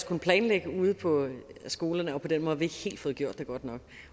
kunne planlægge ude på skolerne på den måde har vi ikke helt fået gjort det godt nok